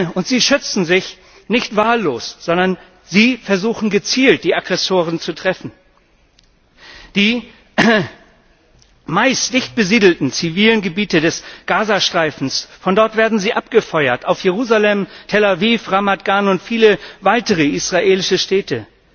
Und sie schützen sich nicht wahllos, sondern sie versuchen, gezielt die Aggressoren zu treffen. Die meist dicht besiedelten zivilen Gebiete des Gaza Streifens von dort werden sie abgefeuert auf Jerusalem, Tel Aviv, Ramat Gan und viele weitere israelische Städte.